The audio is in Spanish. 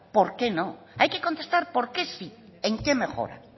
por qué no hay que contestar por qué sé en qué mejora